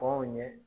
Kɔn ɲɛ